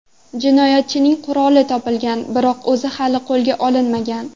Jinoyatchining quroli topilgan, biroq o‘zi hali qo‘lga olinmagan.